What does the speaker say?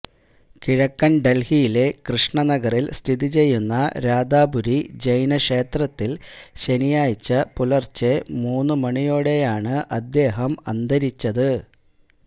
കിഴക്കന് ഡല്ഹിയിലെ കൃഷ്ണ നഗറില് സ്ഥിതിചെയ്യുന്ന രാധാപുരി ജൈന ക്ഷേത്രത്തില് ശനിയാഴ്ച പുലര്ച്ചെ മൂന്ന് മണിയോടെയാണ് അദ്ദേഹം അന്തരിച്ചത്